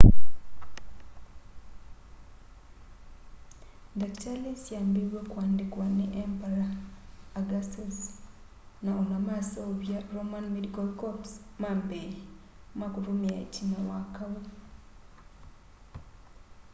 ndakitali syambiiw'e kuandikwa ni emperor augustus na ona maseuvya roman medical corps ma mbee ma kutumia itina wa kau